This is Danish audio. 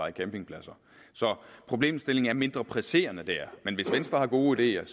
en campingplads så problemstillingen er mindre presserende der men hvis venstre har gode ideer